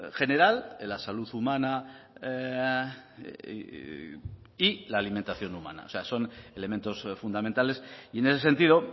general en la salud humana y la alimentación humana o sea son elementos fundamentales y en ese sentido